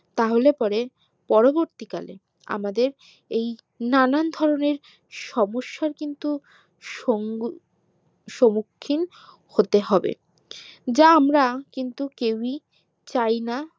তাহলে পরে পরবর্তী কালে আমাদের এই নানান ধরণের সমস্যার কিন্তু সঙ্গী স্মুখীন হতে হবে যা আমরা কিন্তু কেওই চাইনা